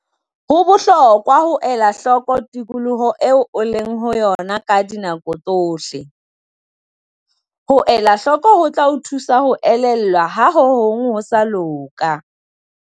Ho bohlokwa ho ela hloko tikoloho eo o leng ho yona ka dinako tsohle. Ho elahloko ho tla o thusa ho elellwa ha ho hong ho sa loka.